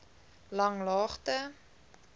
langlaagte